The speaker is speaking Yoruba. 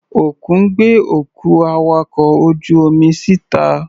Òkun gbé òkú awakọ̀ ojú-omi sí ìta.